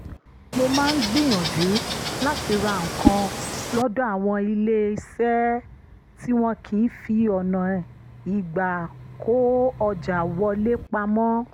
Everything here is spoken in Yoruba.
mo máa ń gbìyànjú láti ra nǹkan lọ́dọ̀ àwọn ilé-eṣẹ́ tí wọn kì í fi ọ̀nà ìgbà-kó-ọjà wọlé pamọ́